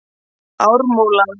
Ármúla